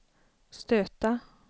stöta